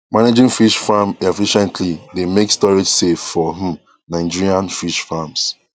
managing fish farm efficiently dey make storage safe for um nigerian fish farms